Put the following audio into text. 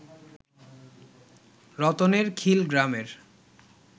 রতনেরখিল গ্রামের